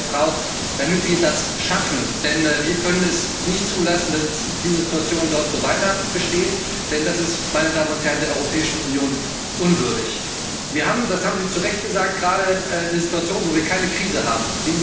braucht, damit wir das schaffen. Wir können es nicht zulassen, dass die Situation dort so weiter besteht, denn das ist der Europäischen Union unwürdig. Wir haben das haben Sie zu Recht gesagt gerade eine Situation, in der wir keine Krise